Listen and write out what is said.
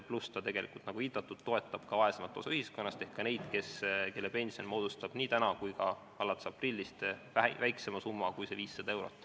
Pluss, nagu viidatud, ta toetab vaesemat osa ühiskonnast ehk ka neid, kelle pension on nii täna kui ka alates aprillist väiksem kui 500 eurot.